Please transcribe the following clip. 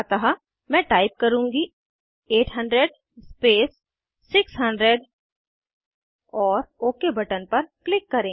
अतः मैं टाइप करुँगी 800 स्पेस 600 और ओक बटन पर क्लिक करें